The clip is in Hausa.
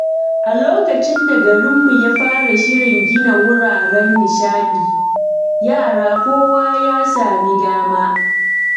A lokacin da garinmu ya fara shirin gina wuraren nishaɗi, yara kowa ya sami dama.